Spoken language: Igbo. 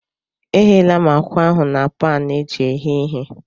Egheela m ákwà ahụ na paanụ eji eghe ihe.